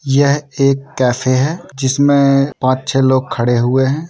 यह एक कैफ़े हैंजिसमें पांच छह लोग खड़े हुए हैं।